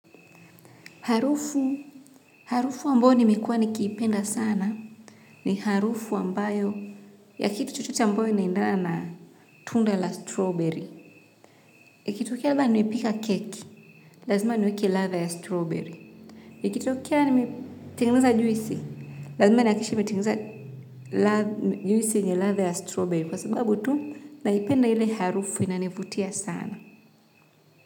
Harufu, harufu ambayo nimekuwa nikipenda sana ni harufu ambayo ya kitu chochote ambayo inaendana na tunda la strawberry. Ikitokea laba nimepika keki, lazima niweke ladha ya strawberry. Ikitokea nimetengeneza juisi, lazima ni hakikishe nimetengeneza juisi yenye ladha ya strawberry kwa sababu tu naipenda ile harufu inanivutia sana.